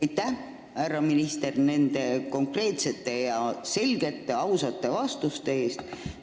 Aitäh, härra minister, nende konkreetsete, selgete ja ausate vastuste eest!